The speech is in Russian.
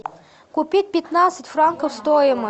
купить пятнадцать франков стоимость